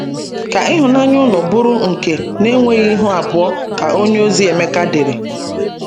Ka ihụnaya ụnụ bụru nke na enweghi ihụ abụo, ka onyeozi Emeka dere